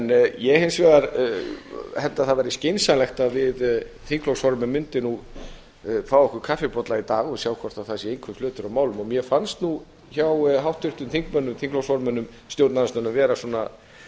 ég held hins vegar að það væri skynsamlegt að við þingflokksformenn mundum fá okkur kaffibolla í dag og sjá hvort það er einhver flötur á málum mér fannst hjá háttvirtum þingflokksformönnum stjórnarandstöðunnar vera